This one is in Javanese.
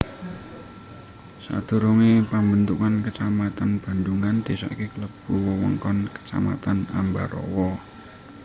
Sadurungé pambentukan kecamatan Bandhungan désa iki klebu wewengkon Kecamatan Ambarawa